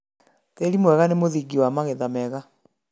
Tĩri mwega nĩ mũthingi wa magetha mega